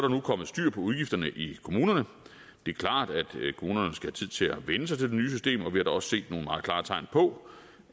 nu kommet styr på udgifterne i kommunerne det er klart at kommunerne skal have tid til at vænne sig til det nye system og vi også set nogle meget klare tegn på